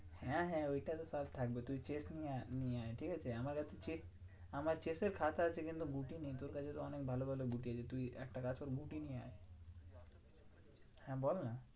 হ্যাঁ হ্যাঁ ওইটা তো তাও থাকবেই। তুই chess নিয়ে আয় নিয়ে আয় ঠিকাছে? আমার এত chess আমার chess এর খাতা আছে কিন্তু ঘুটি নেই তোর কাছে তো অনেক ভালো ভালো ঘুটি আছে। তুই একটা কাজ কর ঘুটি নিয়ে আয়। হ্যাঁ বলনা?